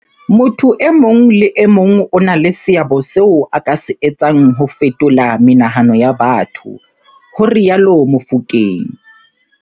Motho e mong le e mong o na le seabo seo a ka se etsang ho fetola menahano ya batho, ho rialo Mofokeng.